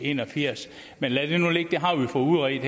en og firs men lad det nu ligge det har vi fået udredt